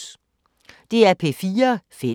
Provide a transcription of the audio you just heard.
DR P4 Fælles